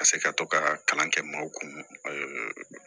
Ka se ka to ka kalan kɛ maaw kun